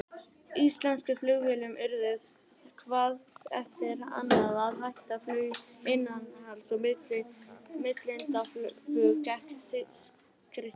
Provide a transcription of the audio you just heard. Íslensku flugfélögin urðu hvað eftir annað að hætta flugi innanlands, og millilandaflug gekk skrykkjótt.